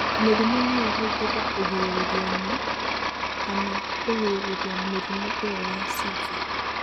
Mĩrimũ no ĩhũthĩrũo kũgirĩrĩria na/kana kũgirĩrĩria mĩrimũ ĩyo ya seizure.